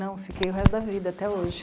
Não, eu fiquei o resto da vida, até hoje.